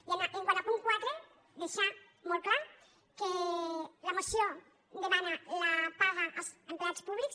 i quant al punt quatre deixar molt clar que la moció demana la paga als empleats públics